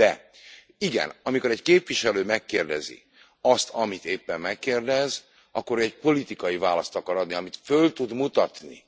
De igen, amikor egy képviselő megkérdezi azt, amit éppen megkérdez, akkor ő egy politikai választ akar adni, amit föl tud mutatni